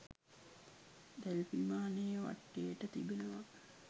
දැල් විමානේ වටේට තිබෙනවා